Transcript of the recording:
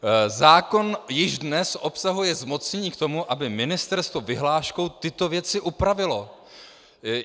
Zákon již dnes obsahuje zmocnění k tomu, aby ministerstvo vyhláškou tyto věci upravilo.